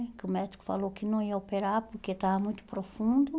Que o médico falou que não ia operar porque estava muito profundo.